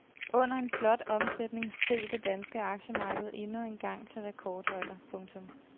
Under en flot omsætning steg det danske aktiemarked endnu engang til rekordhøjder. punktum